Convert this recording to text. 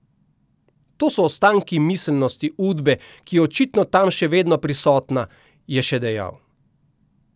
To so ostanki miselnosti Udbe, ki je očitno tam še vedno prisotna, je še dejal.